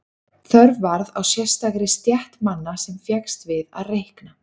Þörf varð á sérstakri stétt manna sem fékkst við að reikna.